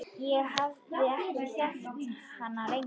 Ég hafði þekkt hana lengi.